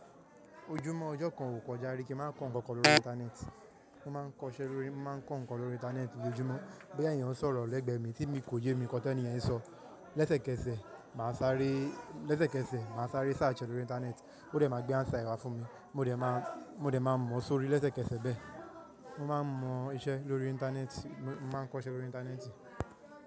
Ojúmọ́ ọjọ́ kan ò kọjá rí kí n má kọ ǹkan kan lórí Íńtánẹ́ẹ̀tì. Mo má ń kọ ń ṣe lórí-- mo má ń kọ ǹkan lórí Íńtánẹ́ẹ̀tì lójoójúmọ́. Boya eeyan sọ̀rọ̀ lẹ́gbẹ̀ẹ́ mi tí mi kò yé mi nkan teniyen ń sọ, lésẹ̀kẹsẹ̀ màá sáré, lésẹ̀kẹsẹ̀ màá sáré search lórí Íńtánẹ́ẹ̀tì, ó dẹ̀ ma gbé answer wa fún mi, mo dẹ̀ ma, mo dẹ̀ má mọ sórí lésẹ̀kẹsẹ̀ bẹ́ẹ̀. Mo má ń mọ iṣẹ́ lórí Íńtánẹ́ẹ̀tì, mo má ń kọ ń ṣe lórí Íńtánẹ́ẹ̀tì.